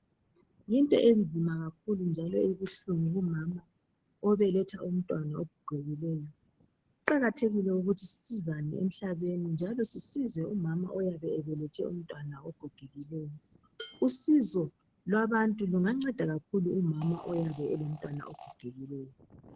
Yinto enzima kakhulu njalo ebuhlungu kumama obeletha umntwana ogegikileyo. Kuqakathekile ukuthi sisizane emhlabeni njalo sisize umama oyabe ebelethe umntwana ogegikileyo. Usizo lwabantu lungasiza kakhulu umama olomntwana ogogekileyo.